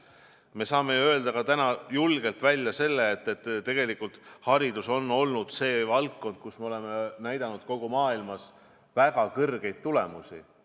Ja me saame ju täna julgelt välja öelda ka selle, et haridus on olnud valdkond, kus me oleme näidanud kogu maailmas väga kõrgeid tulemusi.